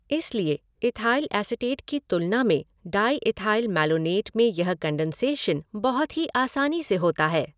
इसलिए ethyl acetate की तुलना में डायईथाइल मैलोनेट में यह कंडेंसेशन बहुत ही आसानी से होता है।